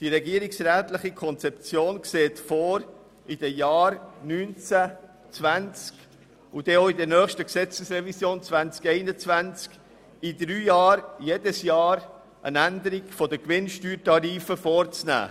Die regierungsrätliche Konzeption sieht vor, in den Jahren 2019, 2020 und dann auch im Rahmen der nächsten Gesetzesrevision 2021, jedes Jahr eine Änderung der Gewinnsteuertarife vorzunehmen.